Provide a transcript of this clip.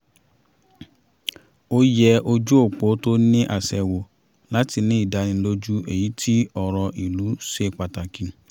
ó yẹ ojú òpó tó ní àṣẹ wò láti ní ìdánilójú èyí tí ọ̀rọ̀ ìlú ṣe pàtàkì